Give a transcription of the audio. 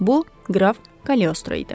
Bu qraf Kaleostro idi.